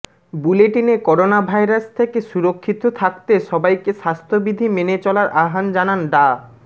বুলেটিনে করোনাভাইরাস থেকে সুরক্ষিত থাকতে সবাইকে স্বাস্থ্যবিধি মেনে চলার আহ্বান জানান ডা